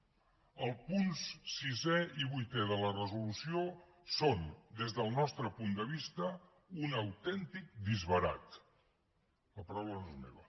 els punts sisè i vuitè de la resolució són des del nostre punt de vista un autèntic disbarat la paraula no és meva